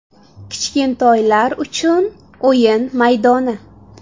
Kichkintoylar uchun o‘yin maydoni.